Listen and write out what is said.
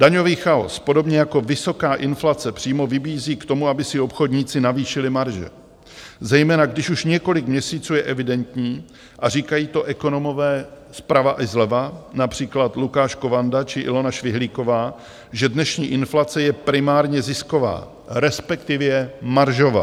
Daňový chaos podobně jako vysoká inflace přímo vybízí k tomu, aby si obchodníci navýšili marže, zejména když už několik měsíců je evidentní, a říkají to ekonomové zprava i zleva, například Lukáš Kovanda či Ilona Švihlíková, že dnešní inflace je primárně zisková, respektive maržová.